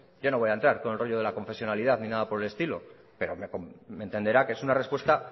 yo no voy a entrar con el rollo de la confesionalidad ni nada por el estilo pero hombre me entenderá que es una respuesta